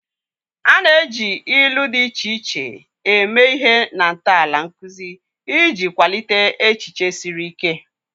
A na-eji ilu dị iche iche eme ihe na ntọala nkuzi iji kwalite echiche siri ike.